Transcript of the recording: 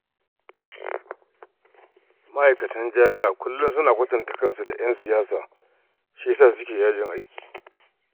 Ma'aikatan jami'a kullum suna kwatanta kansu da 'yan siyasa shi ya sa suke yajin aiki